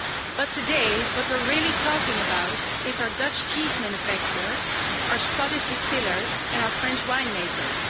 But today, what we're really talking about is our Dutch cheese manufacturers, our Scottish distillers and our French winemakers.